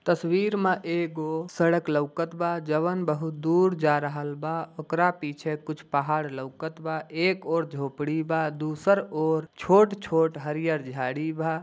तस्वीर मा एगो सड़क लौकत बा जउन बहुत दूर जा रहल बा उकरा पीछे कुछ पहाड़ लौकत बा एक और झोपड़ी बा दुसर और छोट-छोट हरिहर झाड़ी बा।